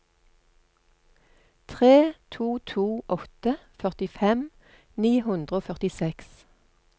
tre to to åtte førtifem ni hundre og førtiseks